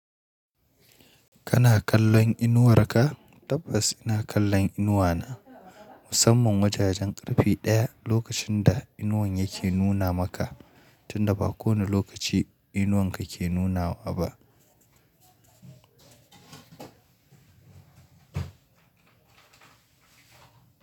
Kana kallon inuwarka? Tabbas ina kallon inuwana, musamman wajajen ƙarfe 1 lokacin da inuwan yake nuna maka, tunda ba kowane lokaci inuwanka ke nunawa ba.